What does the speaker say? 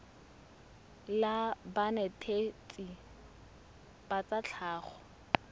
la banetetshi ba tsa tlhago